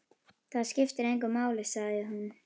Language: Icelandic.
Það skiptir engu máli, sagði hún.